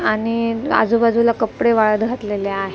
आणि आजूबाजूला कपडे वाळत घातलेले आ --